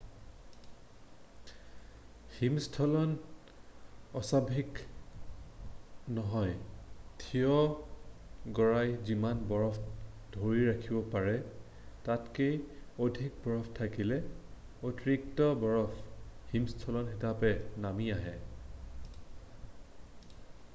হিমস্খলন অস্বাভাৱিক নহয় থিয় গৰাই যিমান বৰফ ধৰি ৰাখিব পাৰে তাতকৈ অধিক বৰফ থাকিলে অতিৰিক্ত বৰফ হিমস্খলন হিচাপে নামি আহে